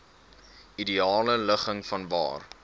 ideale ligging vanwaar